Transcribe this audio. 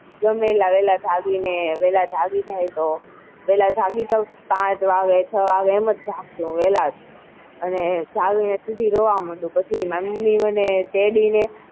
ગમે એટલા વેલા જાગી ને જાગી જાઉં તો વેલા જાગી જાઉં તો પાંચ વાગે છ વાગે એમ જ જાગું વેલા જ અને જાગી ને મમ્મી રોવા માંડું પછી મમ્મી મને તેડી ને,